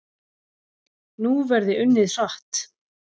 Nú verði unnið hratt